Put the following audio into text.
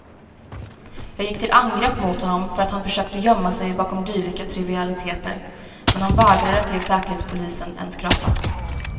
Jag gick till angrepp mot honom för att han försökte gömma sig bakom dylika trivialiteter, men han vägrade att ge säkerhetspolisen en skrapa.